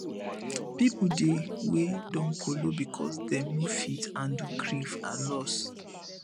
pipo dey wey don kolo because dem no fit handle grief and loss